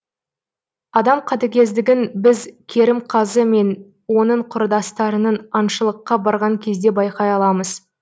адам қатігездігін біз керімқазы мен оның құрдастарының аншылыққа барған кезде байқай аламыз